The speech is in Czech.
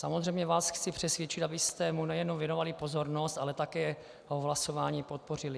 Samozřejmě vás chci přesvědčit, abyste mu nejenom věnovali pozornost, ale také ho v hlasování podpořili.